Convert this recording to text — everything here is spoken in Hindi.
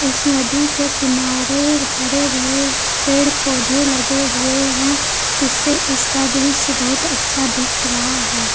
इस नदी के किनारे हरे भरे पेड़ पौधे लगे हुए हैं जिससे इसका दृश्य बहुत अच्छा दिख रहा है।